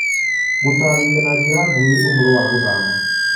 gũtaarĩria na njĩra nguhĩ ũhoro wa gũthama